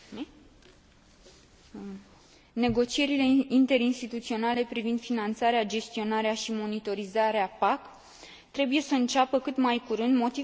Negocierile interinstituționale privind finanțarea, gestionarea și monitorizarea PAC trebuie să înceapă cât mai curând, motiv pentru care am votat pentru acest raport.